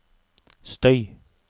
støy